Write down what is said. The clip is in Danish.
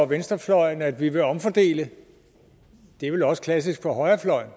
venstrefløjen at vi vil omfordele det er vel også klassisk for højrefløjen